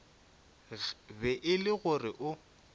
be e le gore o